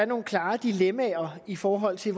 nogle klare dilemmaer i forhold til